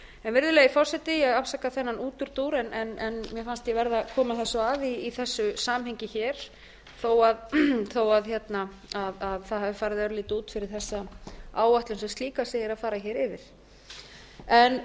virðulegi forseti ég afsaka þennan útúrdúr en mér fannst ég verða að koma þessu að í þessu samhengi hér þó það hafi farið örlítið út fyrir þessa áætlun sem slíka sem ég er að fara hér